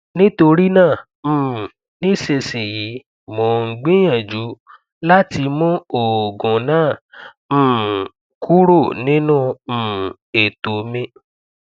nitorina um nisisiyi mo n gbiyanju lati mu oogun naa um kuro ninu um eto mi